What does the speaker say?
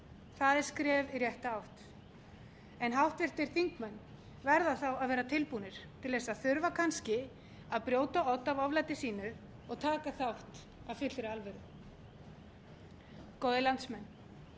það er skref í rétta átt háttviritir þingmenn verða þá að vera tilbúnir til þess að þurfa kannski að brjóta odd af oflæti sínu og taka þátt af fullri alvöru góðir landsmenn við